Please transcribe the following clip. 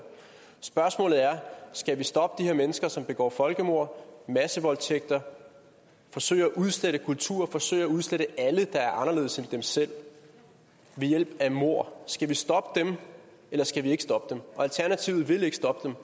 spørgsmålet er om skal stoppe de her mennesker som begår folkemord og massevoldtægter forsøger at udslette kulturer forsøger at udslette alle der er anderledes end dem selv ved hjælp af mord skal vi stoppe dem eller skal vi ikke stoppe dem alternativet vil ikke stoppe dem